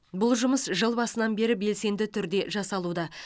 бұл жұмыс жыл басынан бері белсенді түрде жасалуда